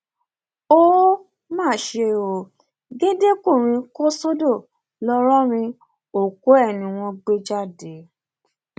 ó um má ṣe ó géńdékùnrin kò sódò ńlọrọrìn òkú ẹ ni wọn gbé jáde um